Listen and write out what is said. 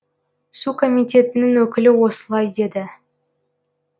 су комитетінің өкілі осылай деді